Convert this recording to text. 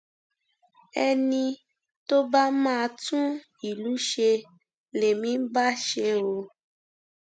ẹni tó bá máa tún ìlú ṣe lèmi ń bá ṣe o